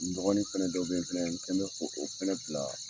N dɔgɔnin fɛnɛ dɔw bɛ fɛnɛ n kɛ bɛ ko o fɛnɛ bila